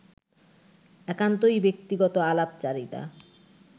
একান্তই ব্যক্তিগত আলাপচারিতা